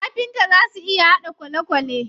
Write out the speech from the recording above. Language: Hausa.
Kafinta zaa su iya haɗa kwalekwale.